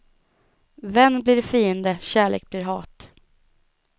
Vän blir fiende, kärlek blir hat.